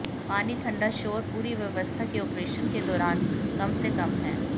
पानी ठंडा शोर पूरी व्यवस्था की ऑपरेशन के दौरान कम से कम है